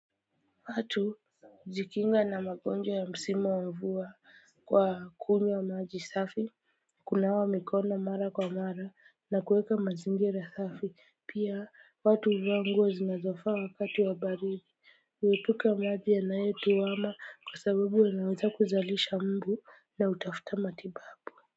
Watu hujikinga na magonjwa ya msima wa mvua kwa kunywa maji safi. Kunawa mikono mara kwa mara na kuweka mazingira safi pia watu huvaa nguo zinazofa wakati wa baridi. Uwepuka maji yanayo tuwama kwa sababu ya naweza kuzalisha mbu na utafuta matibabu.